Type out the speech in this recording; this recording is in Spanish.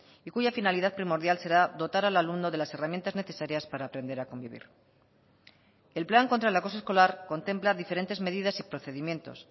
y cuya finalidad primordial será dotar al alumno de las herramientas necesarias para aprender a convivir el plan contra el acoso escolar contempla diferentes medidas y procedimientos